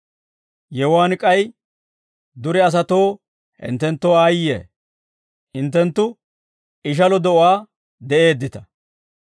«Yewuwaan k'ay, dure asatoo hinttenttoo aayye; hinttenttu ishalo de'uwaan de'eeddita.